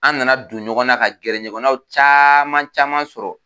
An nana don ɲɔgɔn na ka gɛrɛ ɲɔgɔnnaw caman caman sɔrɔ.